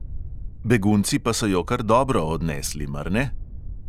Begunci pa so jo kar dobro odnesli, mar ne?